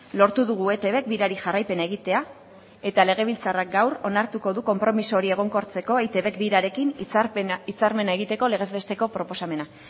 lortu dugu eitbk birari jarraipena egitea eta legebiltzarrak gaur onartuko du konpromiso hori egonkortzeko eitbk birarekin hitzarmena egiteko legez besteko proposamena